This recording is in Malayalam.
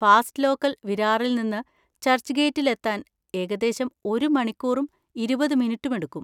ഫാസ്റ്റ് ലോക്കൽ വിരാറിൽ നിന്ന് ചർച്ച്ഗേറ്റിൽ എത്താൻ ഏകദേശം ഒരു മണിക്കൂറും ഇരുപത് മിനിറ്റും എടുക്കും.